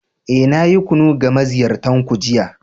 Eh, na yi kunu ga maziyartan ku jiya.